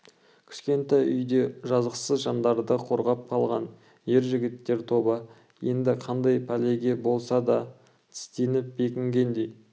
кішкене үйде жазықсыз жандарды қорғап қалған ер жігіттер тобы енді қандай пәлеге болса да тістеніп бекінгендей